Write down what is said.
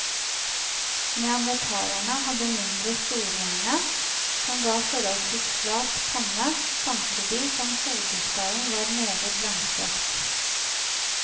Neandertalerne hadde mindre storehjerne, som gav foholdsvis flat panne, samtidig som hodeskallen var meget langstrakt.